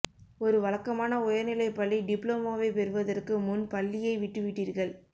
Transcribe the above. ஒரு வழக்கமான உயர்நிலைப் பள்ளி டிப்ளோமாவைப் பெறுவதற்கு முன் பள்ளியை விட்டுவிட்டீர்கள்